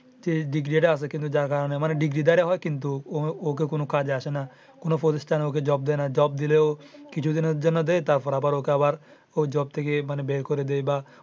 ডিগ্রীটা আছে যার কারণে আমারে কিন্তু ওইটা কোনো কাজে আসে না কোনো প্রতিষ্ঠানে ওকে job দেয় না। job দিলেও কিছু দিনের জন্য দেয় তারপর আবার ওকে আবার ওই job থেকে বের করে দেয় বা।